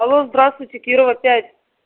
алло здравствуйте кирова пять